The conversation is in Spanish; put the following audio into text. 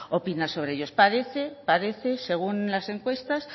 opina sobre ellos parece parece según las encuestas